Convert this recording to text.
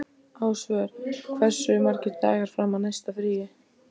Ásvör, hversu margir dagar fram að næsta fríi?